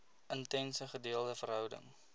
intense gedeelde verhouding